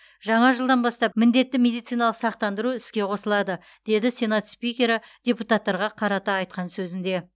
жаңа жылдан бастап міндетті медициналық сақтандыру іске қосылады деді сенат спикері депутаттарға қарата айтқан сөзінде